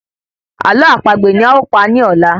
Ààlọ́ àpagbè ni a o pa ni ọ̀la!